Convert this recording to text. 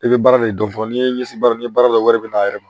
I bɛ baara de dɔn n'i ye ɲɛsi baara ni baara dɔ wɛrɛ bɛn'a yɛrɛ ma